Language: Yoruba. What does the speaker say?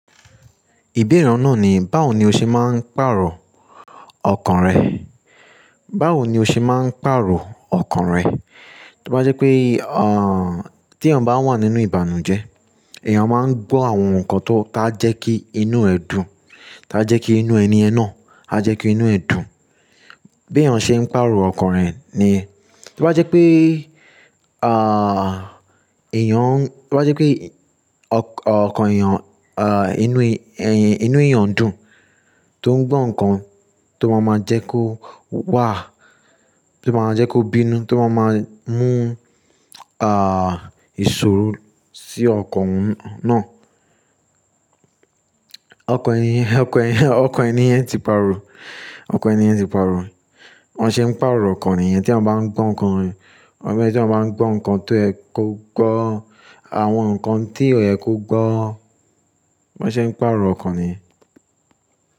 Ìbéèrè òún náà ni, báwo ni o ṣe máa ń pàrọ̀ ọkàn rẹ? Báwo ni o ṣe máa ń pàrọ̀ ọkàn rẹ? Tó bá jẹ́ pé, ah, tí èèyàn bá wà nínú ìbànújẹ́, èèyàn máa ń gbọ́ àwọn nǹkan tó ta jẹ́ kí inú ẹ dùn, ta jẹ́ kí inú ẹni ẹ náà, ta jẹ́ kí inú ẹ dùn. Bí èèyàn ṣe ń pàrọ̀ ọkàn rẹ̀ ni, tó bá jẹ́ pé, ah, èèyàn, to bá jẹ́ pé ọkàn èèyàn, ah, inú ẹy- inú èèyàn dùn, tó ń gbọ́ nǹkan tó máa máa jẹ́ kó wà, tó máa jẹ́ kó bínú, tó máa máa mú, ah, ìṣòro sí ọkàn náà. Ọkàn ẹni, ọkàn ẹni, ọkàn ẹni yẹn ti pàrọ̀, ọkàn ẹni yẹn ti pàrọ̀. Bán ṣẹ̀ ń pàrọ̀ ọkàn èèyàn tí wọ́n bá ń gbọ́ nǹkan, ọ̀ṣẹ̀ tí wọ́n bá ń gbọ́ nǹkan tó ẹ kó gbọ́, àwọn nǹkan tí ọ̀yẹ́ kó gbọ́, ban ṣe ń pàrọ̀ ọkàn ni.